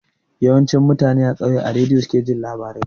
Yawanci mutane a kauye a rediyo suke jin labarai